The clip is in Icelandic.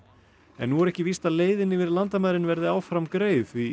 en nú er ekki víst að leiðin yfir landamærin verði áfram greið því